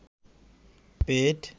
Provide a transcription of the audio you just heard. পেট